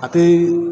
A tɛ